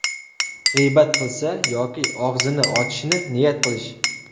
G‘iybat qilsa yoki og‘zini ochishni niyat qilish.